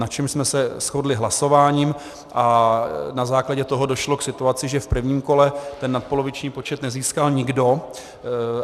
Na čemž jsme se shodli hlasováním a na základě toho došlo k situaci, že v prvním kole ten nadpoloviční počet nezískal nikdo.